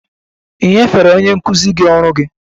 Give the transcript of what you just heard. Ì nyefere onye nkụzi gị ọrụ gị?